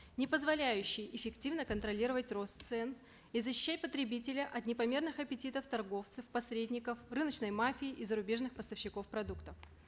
не позволяющие эффективно контролировать рост цен и защищать потребителя от непомерных аппетитов торговцев посредников рыночной мафии и зарубежных поставщиков продуктов